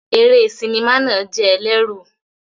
Eré sinimá náà jẹ́ ẹlẹ́rù.